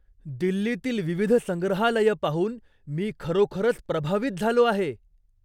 दिल्लीतील विविध संग्रहालयं पाहून मी खरोखरच प्रभावित झालो आहे.